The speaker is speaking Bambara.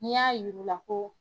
N'i y'a y'ur'u la ko